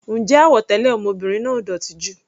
Ǹjẹ́ àwọ̀ tẹlẹ ọmọbìnrin náà ò dótì jù?